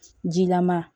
Jilama